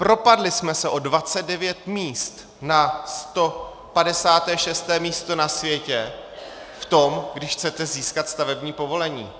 Propadli jsme se o 29 míst na 156. místo na světě v tom, když chcete získat stavební povolení.